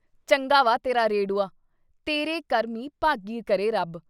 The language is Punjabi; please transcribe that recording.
ਚੰਗਾ ਵਾ ਤੇਰਾ ਰੇੜੂਆ। ਤੇਰੇ ਕਰਮੀਂ ਭਾਗੀਂ ਕਰੇ ਰੱਬ।